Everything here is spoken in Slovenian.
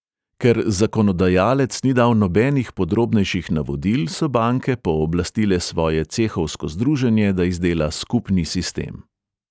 Ker zakonodajalec ni dal nobenih podrobnejših navodil, so banke pooblastile svoje cehovsko združenje, da izdela skupni sistem.